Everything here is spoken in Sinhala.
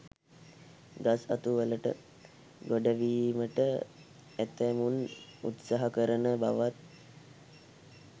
ගස් අතු වලට ගොඩවීමට ඇතැමුන් උත්සාහ කරන බවත්